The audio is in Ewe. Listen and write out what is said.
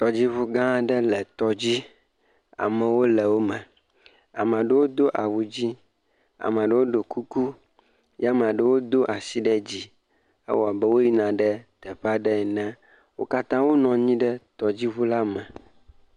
Tɔdziʋu gã aɖe le tɔdzi, amewo le wò me ame aɖewo do awu dzɛ, aɖewo ɖo kuku ye ame aɖewo do asi ɖe dzi. Ewoa abe wò yina ɖe teƒe aɖe ene. Wo katã wò le tɔdziʋu la me.